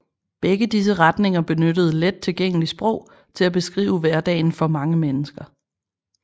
Begge disse retninger benyttede let tilgængeligt sprog til at beskrive hverdagen for mange mennesker